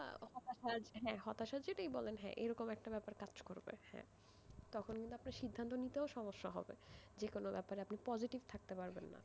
হতাশার জন্যই বলেন এরকম একটা ব্যাপার কাজ করবে তখন কিন্তু আপনার সিদ্ধান্ত নিতে সমস্যা হবে যে কোন ব্যাপারে আপনি positive থাকতে পারবেন না,